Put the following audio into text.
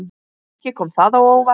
Ekki kom það á óvart.